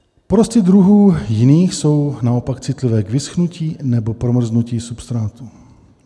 Porosty druhů jiných jsou naopak citlivé k vyschnutí nebo promrznutí substrátu.